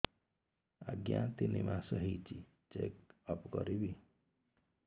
ଆଜ୍ଞା ତିନି ମାସ ହେଇଛି ଚେକ ଅପ କରିବି